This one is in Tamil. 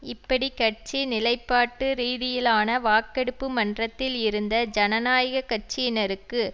இப்படி கட்சி நிலைப்பாட்டுரீதியிலான வாக்கெடுப்பு மன்றத்தில் இருந்த ஜனநாயக கட்சியினருக்கு